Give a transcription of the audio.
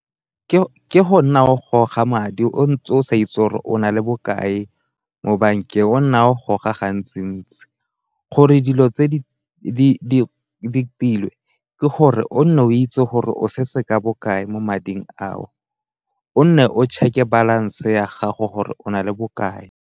Ke go nna o goga madi o sa itse gore o na le bokae mo bankeng o nna o goga gantsi-ntsi, gore dilo tse di tilwe ke gore o nne o itse gore o setse ka bokae mo mading a o, o nne o check-e balance ya gago gore o na le bokae.